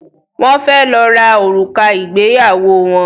Wón fè ló rà òrùka Igbeyawo wón